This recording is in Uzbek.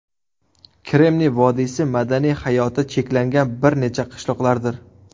Kremniy vodiysi madaniy hayoti cheklangan bir necha qishloqlardir.